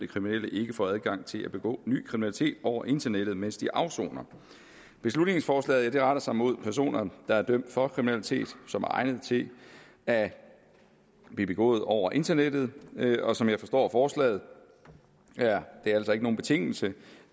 kriminelle ikke får adgang til at begå ny kriminalitet over internettet mens de afsoner beslutningsforslaget retter sig mod personer der er dømt for kriminalitet som er egnet til at blive begået over internettet og som jeg forstår forslaget er det altså ikke nogen betingelse